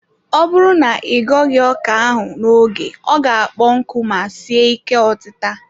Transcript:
Ọ bụrụ na ị ghoghi ọka ahụ n'oge ọ ga-akpọ nku ma sie ike otita.